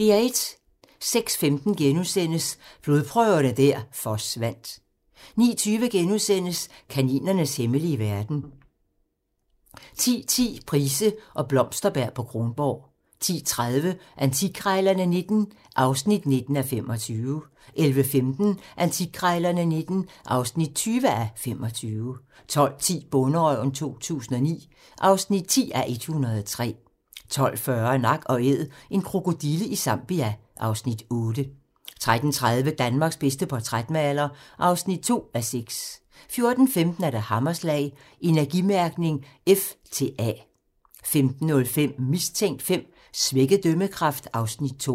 06:15: Blodprøverne der forsvandt * 09:20: Kaninernes hemmelige verden * 10:10: Price og Blomsterberg på Kronborg 10:30: Antikkrejlerne XIX (19:25) 11:15: Antikkrejlerne XIX (20:25) 12:10: Bonderøven 2009 (10:103) 12:40: Nak & Æd - en krokodille i Zambia (Afs. 8) 13:30: Danmarks bedste portrætmaler (2:6) 14:15: Hammerslag - Energimærkning F til A 15:05: Mistænkt V: Svækket dømmekraft (Afs. 2)